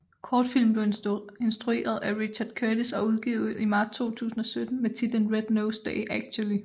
Kortfilmen blev instrueret af Richard Curtis og udgivet i marts 2017 med titlen Red Nose Day Actually